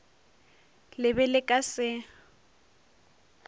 le be le ka se